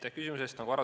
Aitäh küsimuse eest!